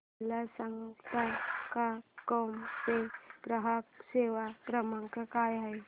मला सांगता का क्रोमा चा ग्राहक सेवा क्रमांक काय आहे